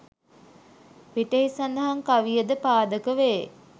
පිටෙහි සඳහන් කවියටද පාදක වේ